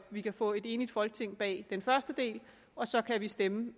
vi kan få et enigt folketing bag den første del og så kan vi stemme